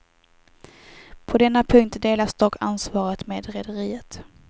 På denna punkt delas dock ansvaret med rederiet.